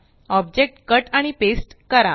object cut आणि paste करा